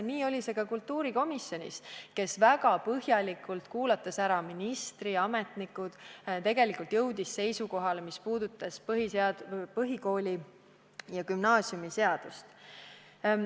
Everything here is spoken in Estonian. Nii oli see ka kultuurikomisjonis, kes kuulas väga põhjalikult ära ministri ja muud ametnikud ning jõudis seisukohale põhikooli- ja gümnaasiumiseadust puudutavas.